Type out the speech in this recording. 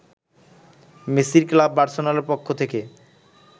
মেসির ক্লাব বার্সেলোনার পক্ষ থেকে